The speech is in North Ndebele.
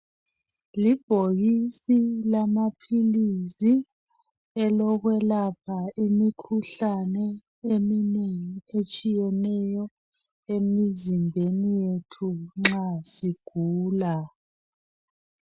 Libhokisi lamaphilisi elokwelapha imikhuhlane eminengi etshiyeneyo emizimbeni yethu nxa sigula.